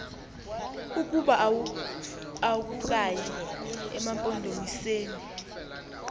ukuba akukayi emampondomiseni